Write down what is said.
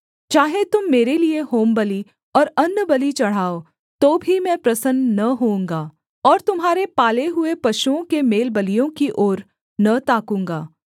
चाहे तुम मेरे लिये होमबलि और अन्नबलि चढ़ाओ तो भी मैं प्रसन्न न होऊँगा और तुम्हारे पाले हुए पशुओं के मेलबलियों की ओर न ताकूँगा